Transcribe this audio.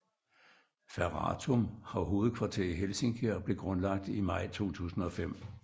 Ferratum har hovedkvarter i Helsinki og blev grundlagt i maj 2005